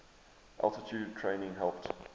altitude training helped